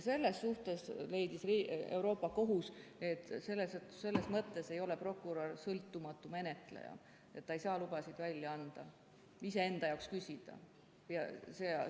Euroopa Liidu Kohus leidis, et selles mõttes ei ole prokurör sõltumatu menetleja, ta ei saa lubasid iseenda jaoks küsida ja välja anda.